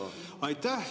Aitäh!